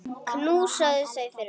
Knúsaðu þau fyrir okkur.